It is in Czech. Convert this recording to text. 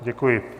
Děkuji.